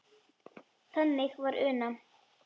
Þannig var Una.